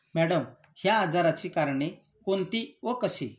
Madam, या आजाराची कारणे कोणती व कशी?